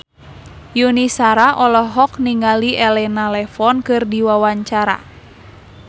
Yuni Shara olohok ningali Elena Levon keur diwawancara